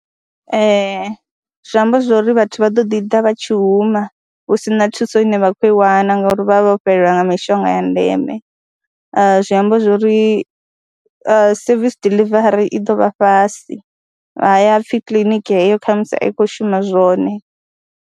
Ee, zwi amba zwo ri vhathu vha ḓo ḓi ḓa vha tshi huma hu si na thuso ine vha khou i wana ngauri vha vha vho fhelelwa nga mishonga ya ndeme, zwi amba zwo ri service diḽivari i ḓo vha fhasi, ha vha pfhi kiḽiniki heyo kha musi a i khou shuma zwone.